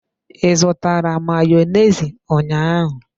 I zụtara Mayonezi ụnyaahụ?